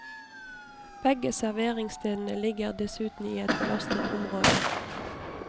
Begge serveringsstedene ligger dessuten i et belastet område.